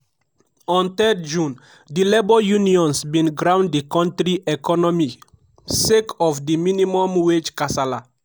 on 3 june di labour unions bin ground di kontri economy sake of di minimum wage kasala.